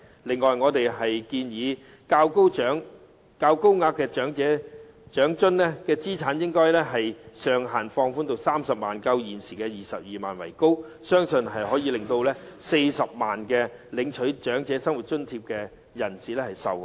此外，我們建議將高額長生津的資產上限放寬至30萬元，較現時的22萬元為高，相信可以令現時領取長生津的40多萬人受惠。